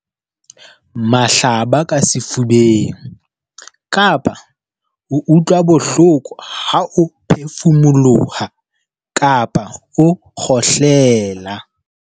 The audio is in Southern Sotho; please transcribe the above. Mahlaba ka sefubeng, kapa ho utlwa bohloko ha o phefumoloha kapa o kgohlela.